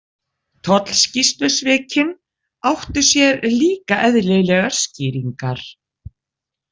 Tollskýrslusvikin áttu sér líka eðlilegar skýringar.